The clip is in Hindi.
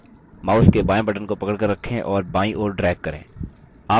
mouse के बायें button को पकड़कर रखें और बायीं ओर drag करें